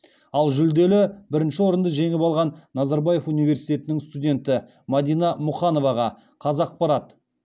ал жүлделі бірінші орынды жеңіп алған назарбаев университетінің студенті мәдина мұқановаға қазақпарат